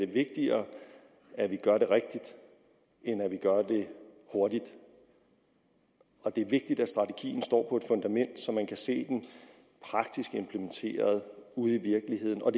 vigtigere at vi gør det rigtigt end at vi gør det hurtigt det er vigtigt at strategien står på et fundament så man kan se den praktisk implementeret ude i virkeligheden og